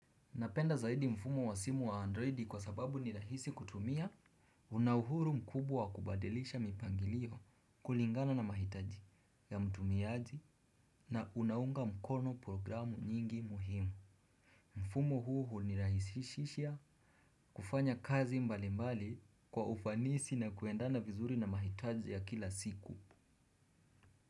Napenda zaidi mfumo wa simu wa androidi kwa sababu nirahisi kutumia unauhuru mkubwawa kubadilisha mipangilio kulingana na mahitaji ya mtumiaji na unaunga mkono programu nyingi muhimu. Mfumo huu hunirahisishisha kufanya kazi mbali mbali kwa ufanisi na kuendana vizuri na mahitaji ya kila siku.